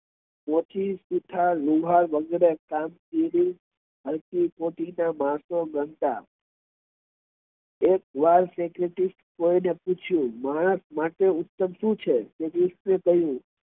મોચી સુથાર લુહાર વગેરે ને હલકી કોટી ના માણસો ગણતા એક વાર કોઈને પૂછ્યું માણસ માટે ઉત્તમ સુ છે